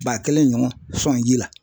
Ba kelen ɲɔgɔn sɔn ji la.